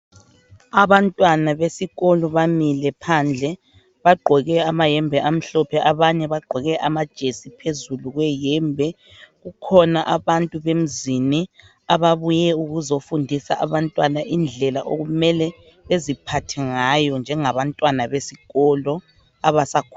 abantwana besikolo bamile phandle bagqoke amayembe amahlophe abanye bagqoke amajesi phezulu kweyembe kukhona abantu bemzini ababuye ukuzefundisa abantwana indlela okumele eziphathe ngayo bjengabantwana besikolo abasakhulayo